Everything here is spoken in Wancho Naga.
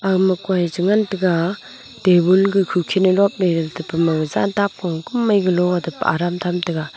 agama koi chengan taiga tabul ke kukhin e lopley tepama jan tapko kumai kulo atab aram tham taiga.